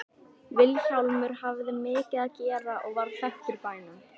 Vilhjálmur hafði mikið að gera og varð þekktur í bænum.